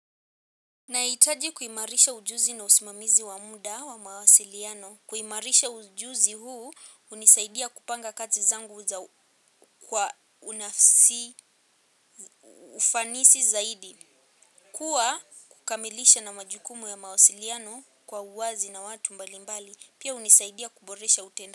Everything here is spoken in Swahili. Nahitaji kuimarisha ujuzi na usimamizi wa muda wa mawasiliano. Kuimarisha ujuzi huu hunisaidia kupanga kazi zangu kwa ufanisi zaidi. Kuwa kukamilisha na majukumu ya mawasiliano kwa uwazi na watu mbalimbali. Pia hunisaidia kuboresha utendaji.